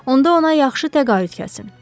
Onda ona yaxşı təqaüd kəsin.